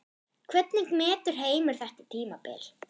Hvernig metur Heimir þetta tímabil?